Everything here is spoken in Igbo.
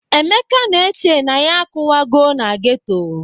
Emeka na-eche na ya akụwagọ na geto.